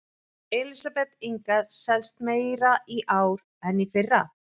Elísabet Inga: Selst meira í ár en í fyrra?